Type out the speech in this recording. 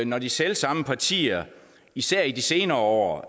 når de selv samme partier især i de senere år